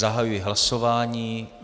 Zahajuji hlasování.